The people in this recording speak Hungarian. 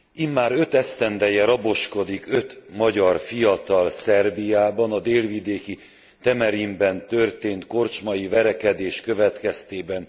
Immár öt esztendeje raboskodik öt magyar fiatal Szerbiában a délvidéki Temerinben történt korcsmai verekedés következtében.